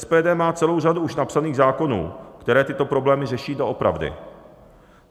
SPD má celou řadu už napsaných zákonů, které tyto problémy řeší doopravdy.